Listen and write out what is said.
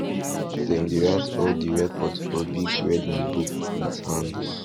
dem dey write all di record for big red notebook with hand